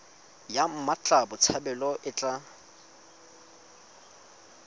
ya mmatla botshabelo e tla